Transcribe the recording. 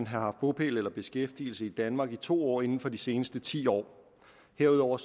haft bopæl eller beskæftigelse i danmark i to år inden for de seneste ti år herudover